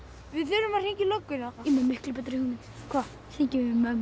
við þurfum að hringja í lögguna ég er með miklu betri hugmynd hvað hringjum